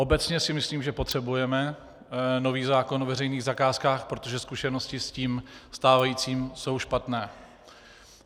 Obecně si myslím, že potřebujeme nový zákon o veřejných zakázkách, protože zkušenosti s tím stávajícím jsou špatné.